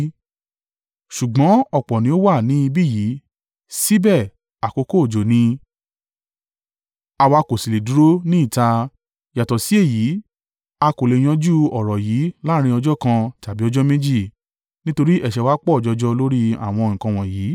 Ṣùgbọ́n ọ̀pọ̀ ni ó wà ni ibi yìí síbẹ̀ àkókò òjò ni; àwa kò sì lè dúró ní ìta. Yàtọ̀ sí èyí, a kò le è yanjú ọ̀rọ̀ yìí láàrín ọjọ́ kan tàbí ọjọ́ méjì, nítorí ẹ̀ṣẹ̀ wa pọ̀ jọjọ lórí àwọn nǹkan wọ̀nyí.